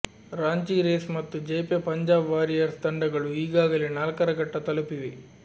Ranchi Rays ಮತ್ತು Jaypee Punjab Warriors ತಂಡಗಳು ಈಗಾಗಲೇ ನಾಲ್ಕರ ಘಟ್ಟ ತಲುಪಿವೆ